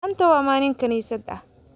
Maanta waa maalin kaniisad ah